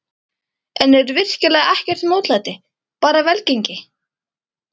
En er virkilega ekkert mótlæti, bara velgengni?